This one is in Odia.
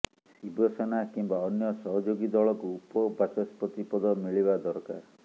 ଶିବସେନା କିମ୍ବା ଅନ୍ୟ ସହଯୋଗୀ ଦଳକୁ ଉପବାଚସ୍ପତି ପଦ ମିଳିବା ଦରକାର